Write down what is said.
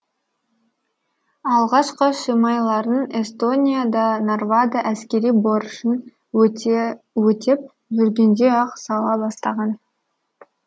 алғашқы шимайларын эстонияда нарвада әскери борышын өтеп жүргенде ақ сала бастаған